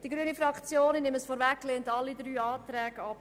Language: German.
Die grüne Fraktion lehnt alle drei Planungserklärungen ab.